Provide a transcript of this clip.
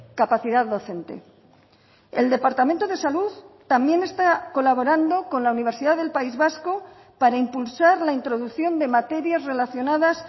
capacidad docente el departamento de salud también está colaborando con la universidad del país vasco para impulsar la introducción de materias relacionadas